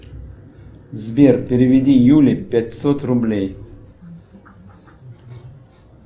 сбер переведи юле пятьсот рублей